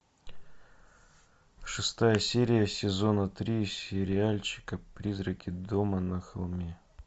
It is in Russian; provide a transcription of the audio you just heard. шестая серия сезона три сериальчика призраки дома на холме